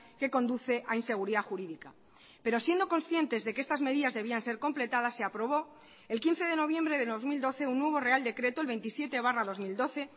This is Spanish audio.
que conduce a inseguridad jurídica pero siendo conscientes de que estas medidas debían ser completadas se aprobó el quince de noviembre de dos mil doce un nuevo real decreto el veintisiete barra dos mil doce